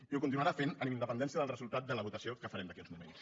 i ho continuarà fent amb independència del resultat de la votació que farem d’aquí a uns moments